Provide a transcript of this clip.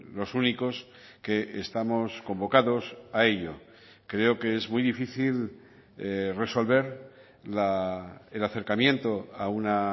los únicos que estamos convocados a ello creo que es muy difícil resolver el acercamiento a una